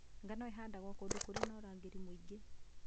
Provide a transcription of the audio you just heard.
Ngano ĩhandagwo kũndũ kũrĩ na ũrugarĩ mũingĩ